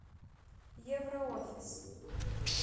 евроофис